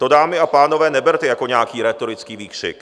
To, dámy a pánové, neberte jako nějaký rétorický výkřik.